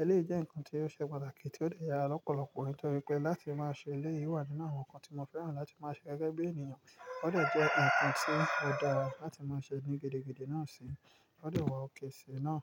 Eléyi jẹ́ nǹkan tí yóò ṣe pàtàkì tí ó lè yára lọ́pọ̀lọpọ̀ nítorí pé láti máa ṣe elé, ìwà nínú àwọn nǹkan tí mo fẹ́ràn láti máa ṣe gẹ́gẹ́ bí ènìyàn. Ó dè jẹ́ nǹkan tí ó dára láti máa ṣe ní gidi gidí náà síi, ó lè wo òkè sí i náà.